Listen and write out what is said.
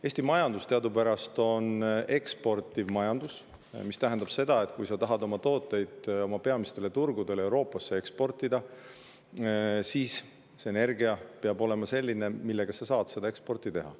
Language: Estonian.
Eesti majandus on teadupärast eksportiv majandus, mis tähendab seda, et kui sa tahad tooteid oma peamistele turgudele Euroopas eksportida, siis energia peab olema selline, millega sa saad seda eksporti teha.